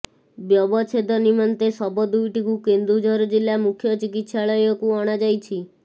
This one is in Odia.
ବ୍ୟବଚ୍ଛେଦ ନିମନ୍ତେ ଶବ ଦୁଇଟିକୁ କେନ୍ଦୁଝର ଜିଲ୍ଲା ମୁଖ୍ୟ ଚିକିତ୍ସାଳୟକୁ ଅଣା ଯାଇଛି